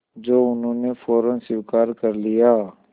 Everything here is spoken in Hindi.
जो उन्होंने फ़ौरन स्वीकार कर लिया